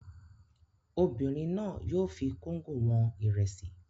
Obìnrin náà yóò fi kóńgò wọn ìrẹsì.